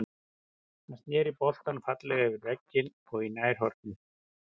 Hann snéri boltann fallega yfir vegginn og í nærhornið.